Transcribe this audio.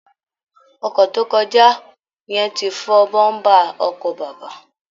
Ọkọ̀ tó kọjá yẹn ti fọ́ bọ́ńbà ọkọ bàbá